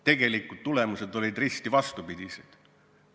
Tegelikud tulemused olid risti vastupidised.